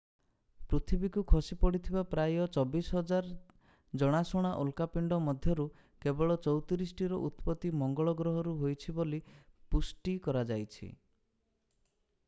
ପୃଥିବୀକୁ ଖସି ପଡିଥିବା ପ୍ରାୟ 24,000 ଜଣାଶୁଣା ଉଲକାପିଣ୍ଡ ମଧ୍ୟରୁ କେବଳ 34 ଟିର ଉତ୍ପତ୍ତି ମଙ୍ଗଳ ଗ୍ରହରୁ ହୋଇଛି ବୋଲି ପୁଷ୍ଟି କରାଯାଇଛି